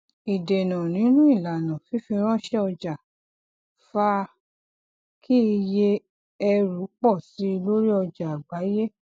ìdènà nínú ilana fífiranṣẹ ọjà fa kí iye ẹrù pọ síi lórí ọjà àgbáyé